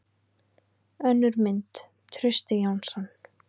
Önnur mynd: Trausti Jónsson.